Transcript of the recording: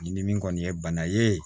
Ni min kɔni ye bana ye